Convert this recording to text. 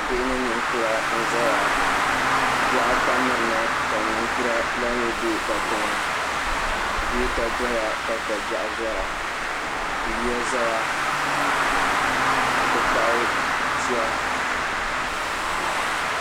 bihi ni nikura n zaya bihi ata mɛrina ka nikura maa mi bɛ katɛŋa gota doya ka kobɛgu doya yoya zaya n ti pahi tiya